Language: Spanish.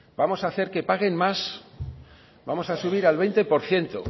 vamos a hacer que paguen más vamos a subir al veinte por ciento